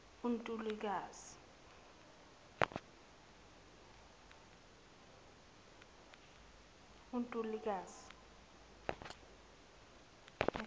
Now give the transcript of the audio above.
untulukazi